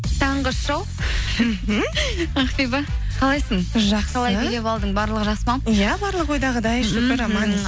таңғы шоу ақбибі қалайсың барлығы жақсы ма иә барлығы ойдағыдай